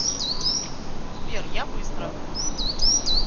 сбер я быстро